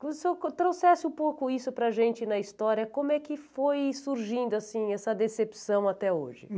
O senhor trouxesse um pouco isso para a gente na história, como é que foi surgindo, assim, essa decepção até hoje?